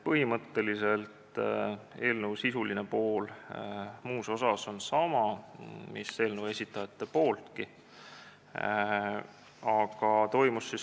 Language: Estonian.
Eelnõu sisuline pool on muus osas jäänud ettepanekus põhimõtteliselt samaks, mis oli eelnõu esitajate variandis.